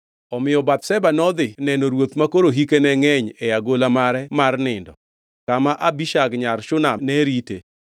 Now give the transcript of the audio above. Omiyo Bathsheba nodhi neno ruoth makoro hike ne ngʼeny e agola mare mar nindo kama Abishag nyar Shunam ne rite.